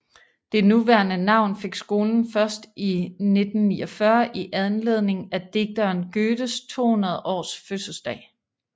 Det nuværende navn fik skolen først i 1949 i anledning af digteren Goethes 200 års fødselsdag